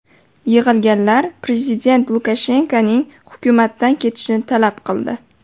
Yig‘ilganlar prezident Lukashenkoning hukumatdan ketishini talab qildi.